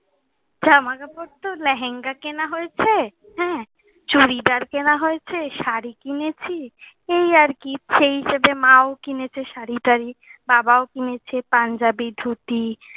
জামা কাপড় তো লেহেঙ্গা কেনা হয়েছে , হ্যাঁ, চুড়িদার কেনা হয়েছে। শাড়ি কিনেছি। এই আর কি। সেই হিসেবে মাও কিনেছে শাড়ি টারি, বাবাও কিনেছে পাঞ্জাবি ধুতি।